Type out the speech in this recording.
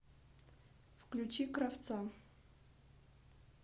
включи кравца